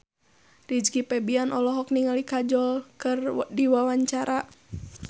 Rizky Febian olohok ningali Kajol keur diwawancara